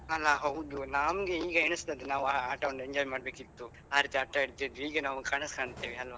ಅಲ್ಲಾ ಹೌದು ನಮ್ಗೆ ಈಗ ಎನಿಸ್ತದೆ ನಾವು ಆ ಆಟವನ್ನು enjoy ಮಾಡ್ಬೇಕಿತ್ತು ಆ ರೀತಿ ಆಟ ಆಡ್ತಿದ್ವಿ ಈಗ ನಾವು ಕನಸು ಕಾಂತೇವೆ ಅಲ್ವಾ.